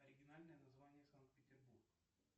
оригинальное название санкт петербург